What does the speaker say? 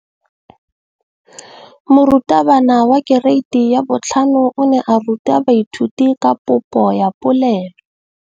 Moratabana wa kereiti ya 5 o ne a ruta baithuti ka popô ya polelô.